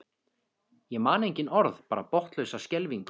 Ég man engin orð, bara botnlausa skelfingu.